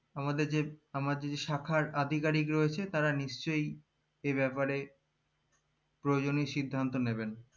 আমাদের যে আমাদের যে শাখার আধিকারিক রয়েছে তারা নিশ্চই এ ব্যাপারে প্রজনেও সিদ্ধান্ত নেবেন